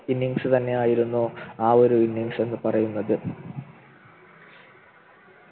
Innings തന്നെയായിരുന്നു ആ ഒരു Innings എന്ന് പറയുന്നത്